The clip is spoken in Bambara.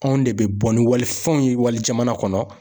Anw de bɛ bɔ ni walifɛnw ye wali jamana kɔnɔ.